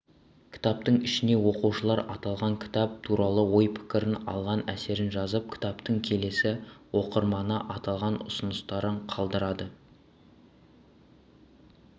кітаптың ішіне оқушылар аталған кітап туралы ой-пікірін алған әсерін жазып кітаптың келесі оқырманына арнаған ұсыныстарын қалдырады